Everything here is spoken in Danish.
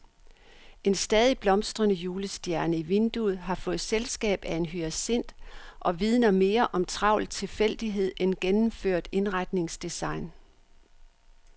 En stadig blomstrende julestjerne i vinduet har fået selskab af en hyacint og vidner mere om travl tilfældighed end gennemført indretningsdesign.